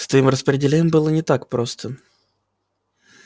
с твоим распределением было не так просто